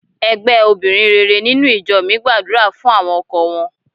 Ẹgbẹ́ obìnrin rere nínú ìjọ mi gbàdúrà fún àwọn ọkọ wọn.